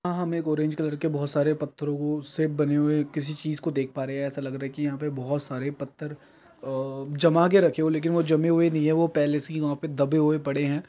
यहां हमे orange colour के बहुत सारे पत्थरों से बन हुए किसी चीज को देख पा रहे है ऐसा लग रहा है की यहां पर बहुत सारे पत्थर जमा के रखे हो लेकिन वो जमे हुए नहीं वो पहले से ही वहा पे दबे हुए पड़े है।